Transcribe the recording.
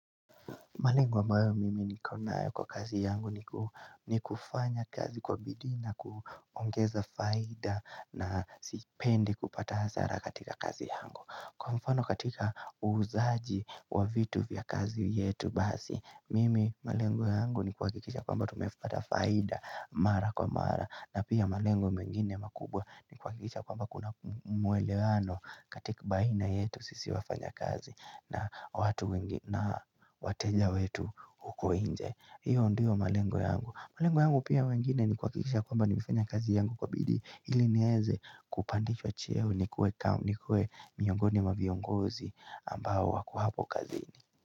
Malengo ambayo mimi niko nayo kwa kazi yangu ni kufanya kazi kwa bidii na kuongeza faida na sipendi kupata hasara katika kazi yangu. Kwa mfano katika uuzaji wa vitu vya kazi yetu basi, mimi malengo yangu ni kuhakikisha kwamba tumepata faida mara kwa mara. Na pia malengo mengine makubwa nikuhakikisha kwamba kuna mwelewano katika baina yetu sisi wafanya kazi na watu wengi na wateja wetu huko nje, hiyo ndiyo malengo yangu malengo yangu pia mengine ni kuhakikisha kwamba nimefanya kazi yangu kwa bidi ili nieze kupandishwa cheo nikue miongoni mwa viongozi ambao wako hapo kazini.